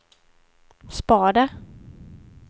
spader